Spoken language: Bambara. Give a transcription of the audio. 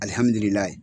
Alihamdullilaye